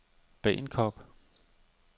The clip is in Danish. Bagenkop